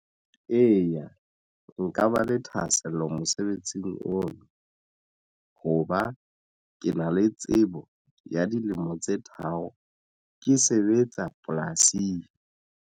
Eya, nka ba le thahasello mosebetsing ono. Hoba ke na le tsebo ya dilemo tse tharo ke sebetsa polasing.